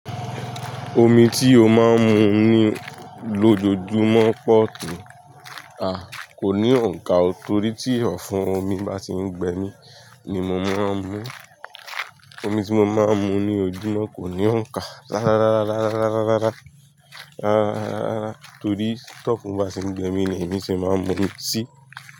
Omi tí ó máa ń mu ni lójoojúmọ́ pọ̀ to, a, kò ní òǹkà o torí tí ọ̀fún omi bá ti ń gbẹ mi ni mo máa ń mu. Omi tí mo máa ń mu ní ojúmọ́ kò ní òǹkà rárárárárárárárárá torí tí ọ̀fún bá ti ń gbẹ mi ni èmi ṣe máa ń mu mi sí.